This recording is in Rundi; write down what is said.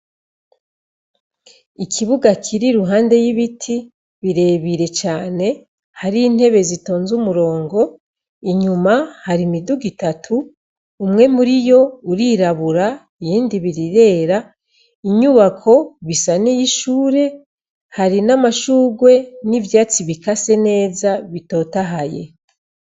Ikibuga kiri ruhande y'ibiti birebire cane hari intebe zitonze umurongo inyuma hari imidugu itatu umwe muri yo urirabura iyindi birirera inyubako bisa n' y'ishure hari n'amashugwe n'ivyo atsi ibika se neza bitotahaye.